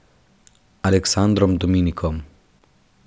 Aleksandrom Dominkom.